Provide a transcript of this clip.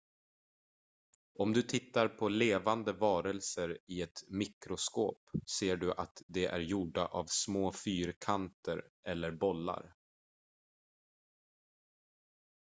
om du tittar på levande varelser i ett mikroskop ser du att de är gjorda av små fyrkanter eller bollar